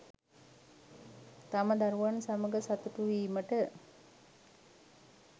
තම දරුවන් සමඟ සතුටුවීමට